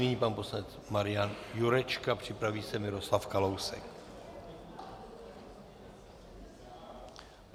Nyní pan poslanec Marian Jurečka, připraví se Miroslav Kalousek.